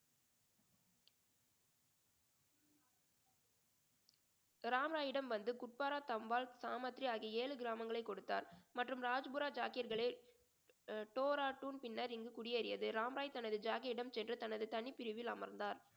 ராம் ராயிடம் வந்து குப்வாரா, ஆகிய ஏழு கிராமங்களை கொடுத்தார் மற்றும் பின்னர் இங்கு குடியேறியது ராம் ராய் தனது ஜாகியிடம் சென்று தனது தனி பிரிவில் அமர்ந்தார்